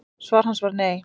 Svar hans var nei.